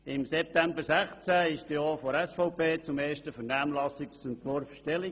Im September 2016 nahm auch die SVP zum ersten Vernehmlassungsentwurf Stellung.